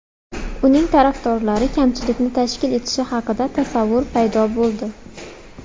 Uning tarafdorlari kamchilikni tashkil etishi haqida tasavvur paydo bo‘ldi.